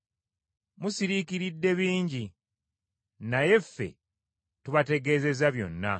Musiriikiridde bingi naye ffe tubategeezezza byonna.